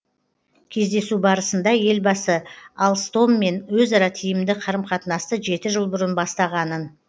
кездесу барысында елбасы алстоммен өзара тиімді қарым қатынасты жеті жыл бұрын бастағанын